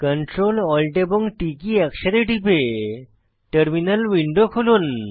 Ctrl Alt এবং T key একসাথে টিপে টার্মিনাল উইন্ডো খুলুন